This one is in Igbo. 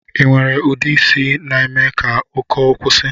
Inwere ude isi na-eme ka ụkọ kwusi?